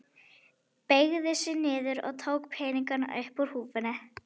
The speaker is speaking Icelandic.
Beygði sig niður og tók peningana upp úr húfunni.